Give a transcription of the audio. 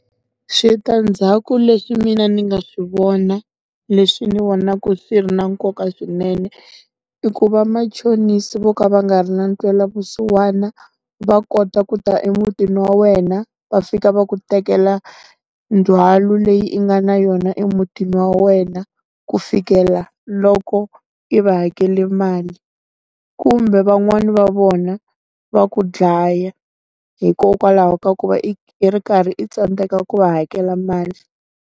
Switandzhaku leswi mina ndzi nga swi vona leswi ni vona swi ri na nkoka swinene, i ku vamachonisa vo ka va nga ri na ntwela vusiwana, va kota ku ta emutini wa wena va fika va ku tekela, ndzhwalo leyi i nga na yona emutini wa wena, ku fikela loko i va hakela mali. Kumbe van'wani va vona va ku dlaya, hikokwalaho ka ku va i i ri karhi i tsandzeka ku va hakela mali.